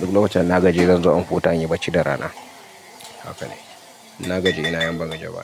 Duk lokacin da na gajiya, zan zo in huɗa in yi bacci da rana. Haka ne. Na gajiya ina yawan ban gajiya ba.